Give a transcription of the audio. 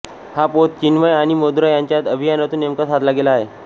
हा पोत चिन्मय आणि मधुरा यांच्या अभिनयातून नेमका साधला गेला आहे